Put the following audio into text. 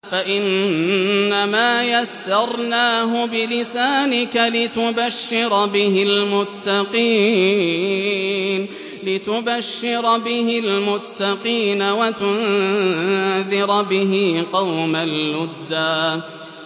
فَإِنَّمَا يَسَّرْنَاهُ بِلِسَانِكَ لِتُبَشِّرَ بِهِ الْمُتَّقِينَ وَتُنذِرَ بِهِ قَوْمًا لُّدًّا